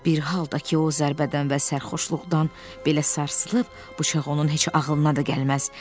Bir halda ki, o zərbədən və sərxoşluqdan belə sarsılıb, bıçaq onun heç ağılına da gəlməz.